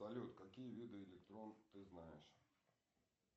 салют какие виды электронов ты знаешь